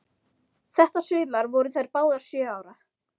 Þetta sumar voru þær báðar sjö ára.